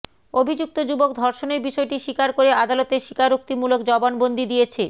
অভিযুক্ত যুবক ধর্ষণের বিষয়টি স্বীকার করে আদালতে স্বীকারোক্তিমূলক জবানবন্দি দিয়েছে